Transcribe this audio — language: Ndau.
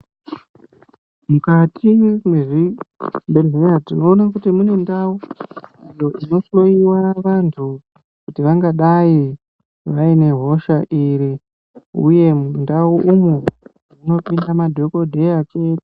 Mukati mwezvibhedhlera tinoona kuti mune ndau idzo dzinohloiwa vantu kuti vangadai vane hosha dziri uye mundau umwu munopinda madhokodheya chete.